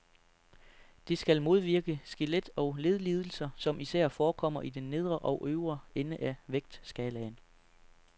Det skal modvirke skelet- og ledlidelser, som især forekommer i den nedre og øvre ende af vægtskalaen.